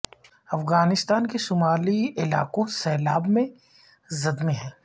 افغانستان کے شمالی علاقوں سیلاب میں زد میں ہیں